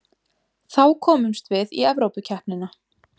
Þá komumst við í Evrópukeppnina